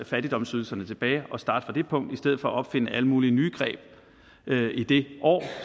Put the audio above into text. fattigdomsydelserne tilbage og starte fra det punkt i stedet for at opfinde alle mulige nye greb i det år